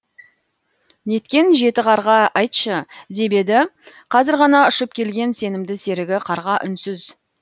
неткен жеті қарға айтшы деп еді қазір ғана ұшып келген сенімді серігі қарға үнсіз